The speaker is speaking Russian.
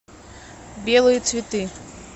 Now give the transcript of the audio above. белые цветы